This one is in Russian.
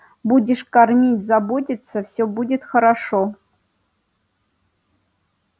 будешь кормить заботиться всё будет хорошо